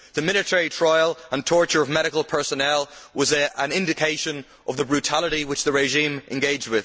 The military trial and torture of medical personnel was an indication of the brutality in which the regime engaged.